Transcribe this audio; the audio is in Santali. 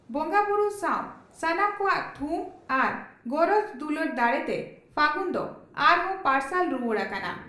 ᱵᱚᱸᱜᱟᱵᱩᱨᱩ ᱥᱟᱣ ᱥᱟᱱᱟᱢ ᱠᱚᱣᱟᱜ ᱛᱷᱩᱢ ᱟᱨ ᱜᱚᱨᱚᱡᱽ ᱫᱩᱞᱟᱹᱲ ᱫᱟᱲᱮᱛᱮ ᱯᱷᱟᱹᱜᱩᱱ ᱫᱚ ᱟᱨᱦᱚᱸ ᱯᱟᱨᱥᱟᱞ ᱨᱩᱣᱟᱹᱲ ᱟᱠᱟᱱᱟ ᱾